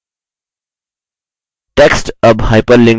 text अब hyperlinked नहीं है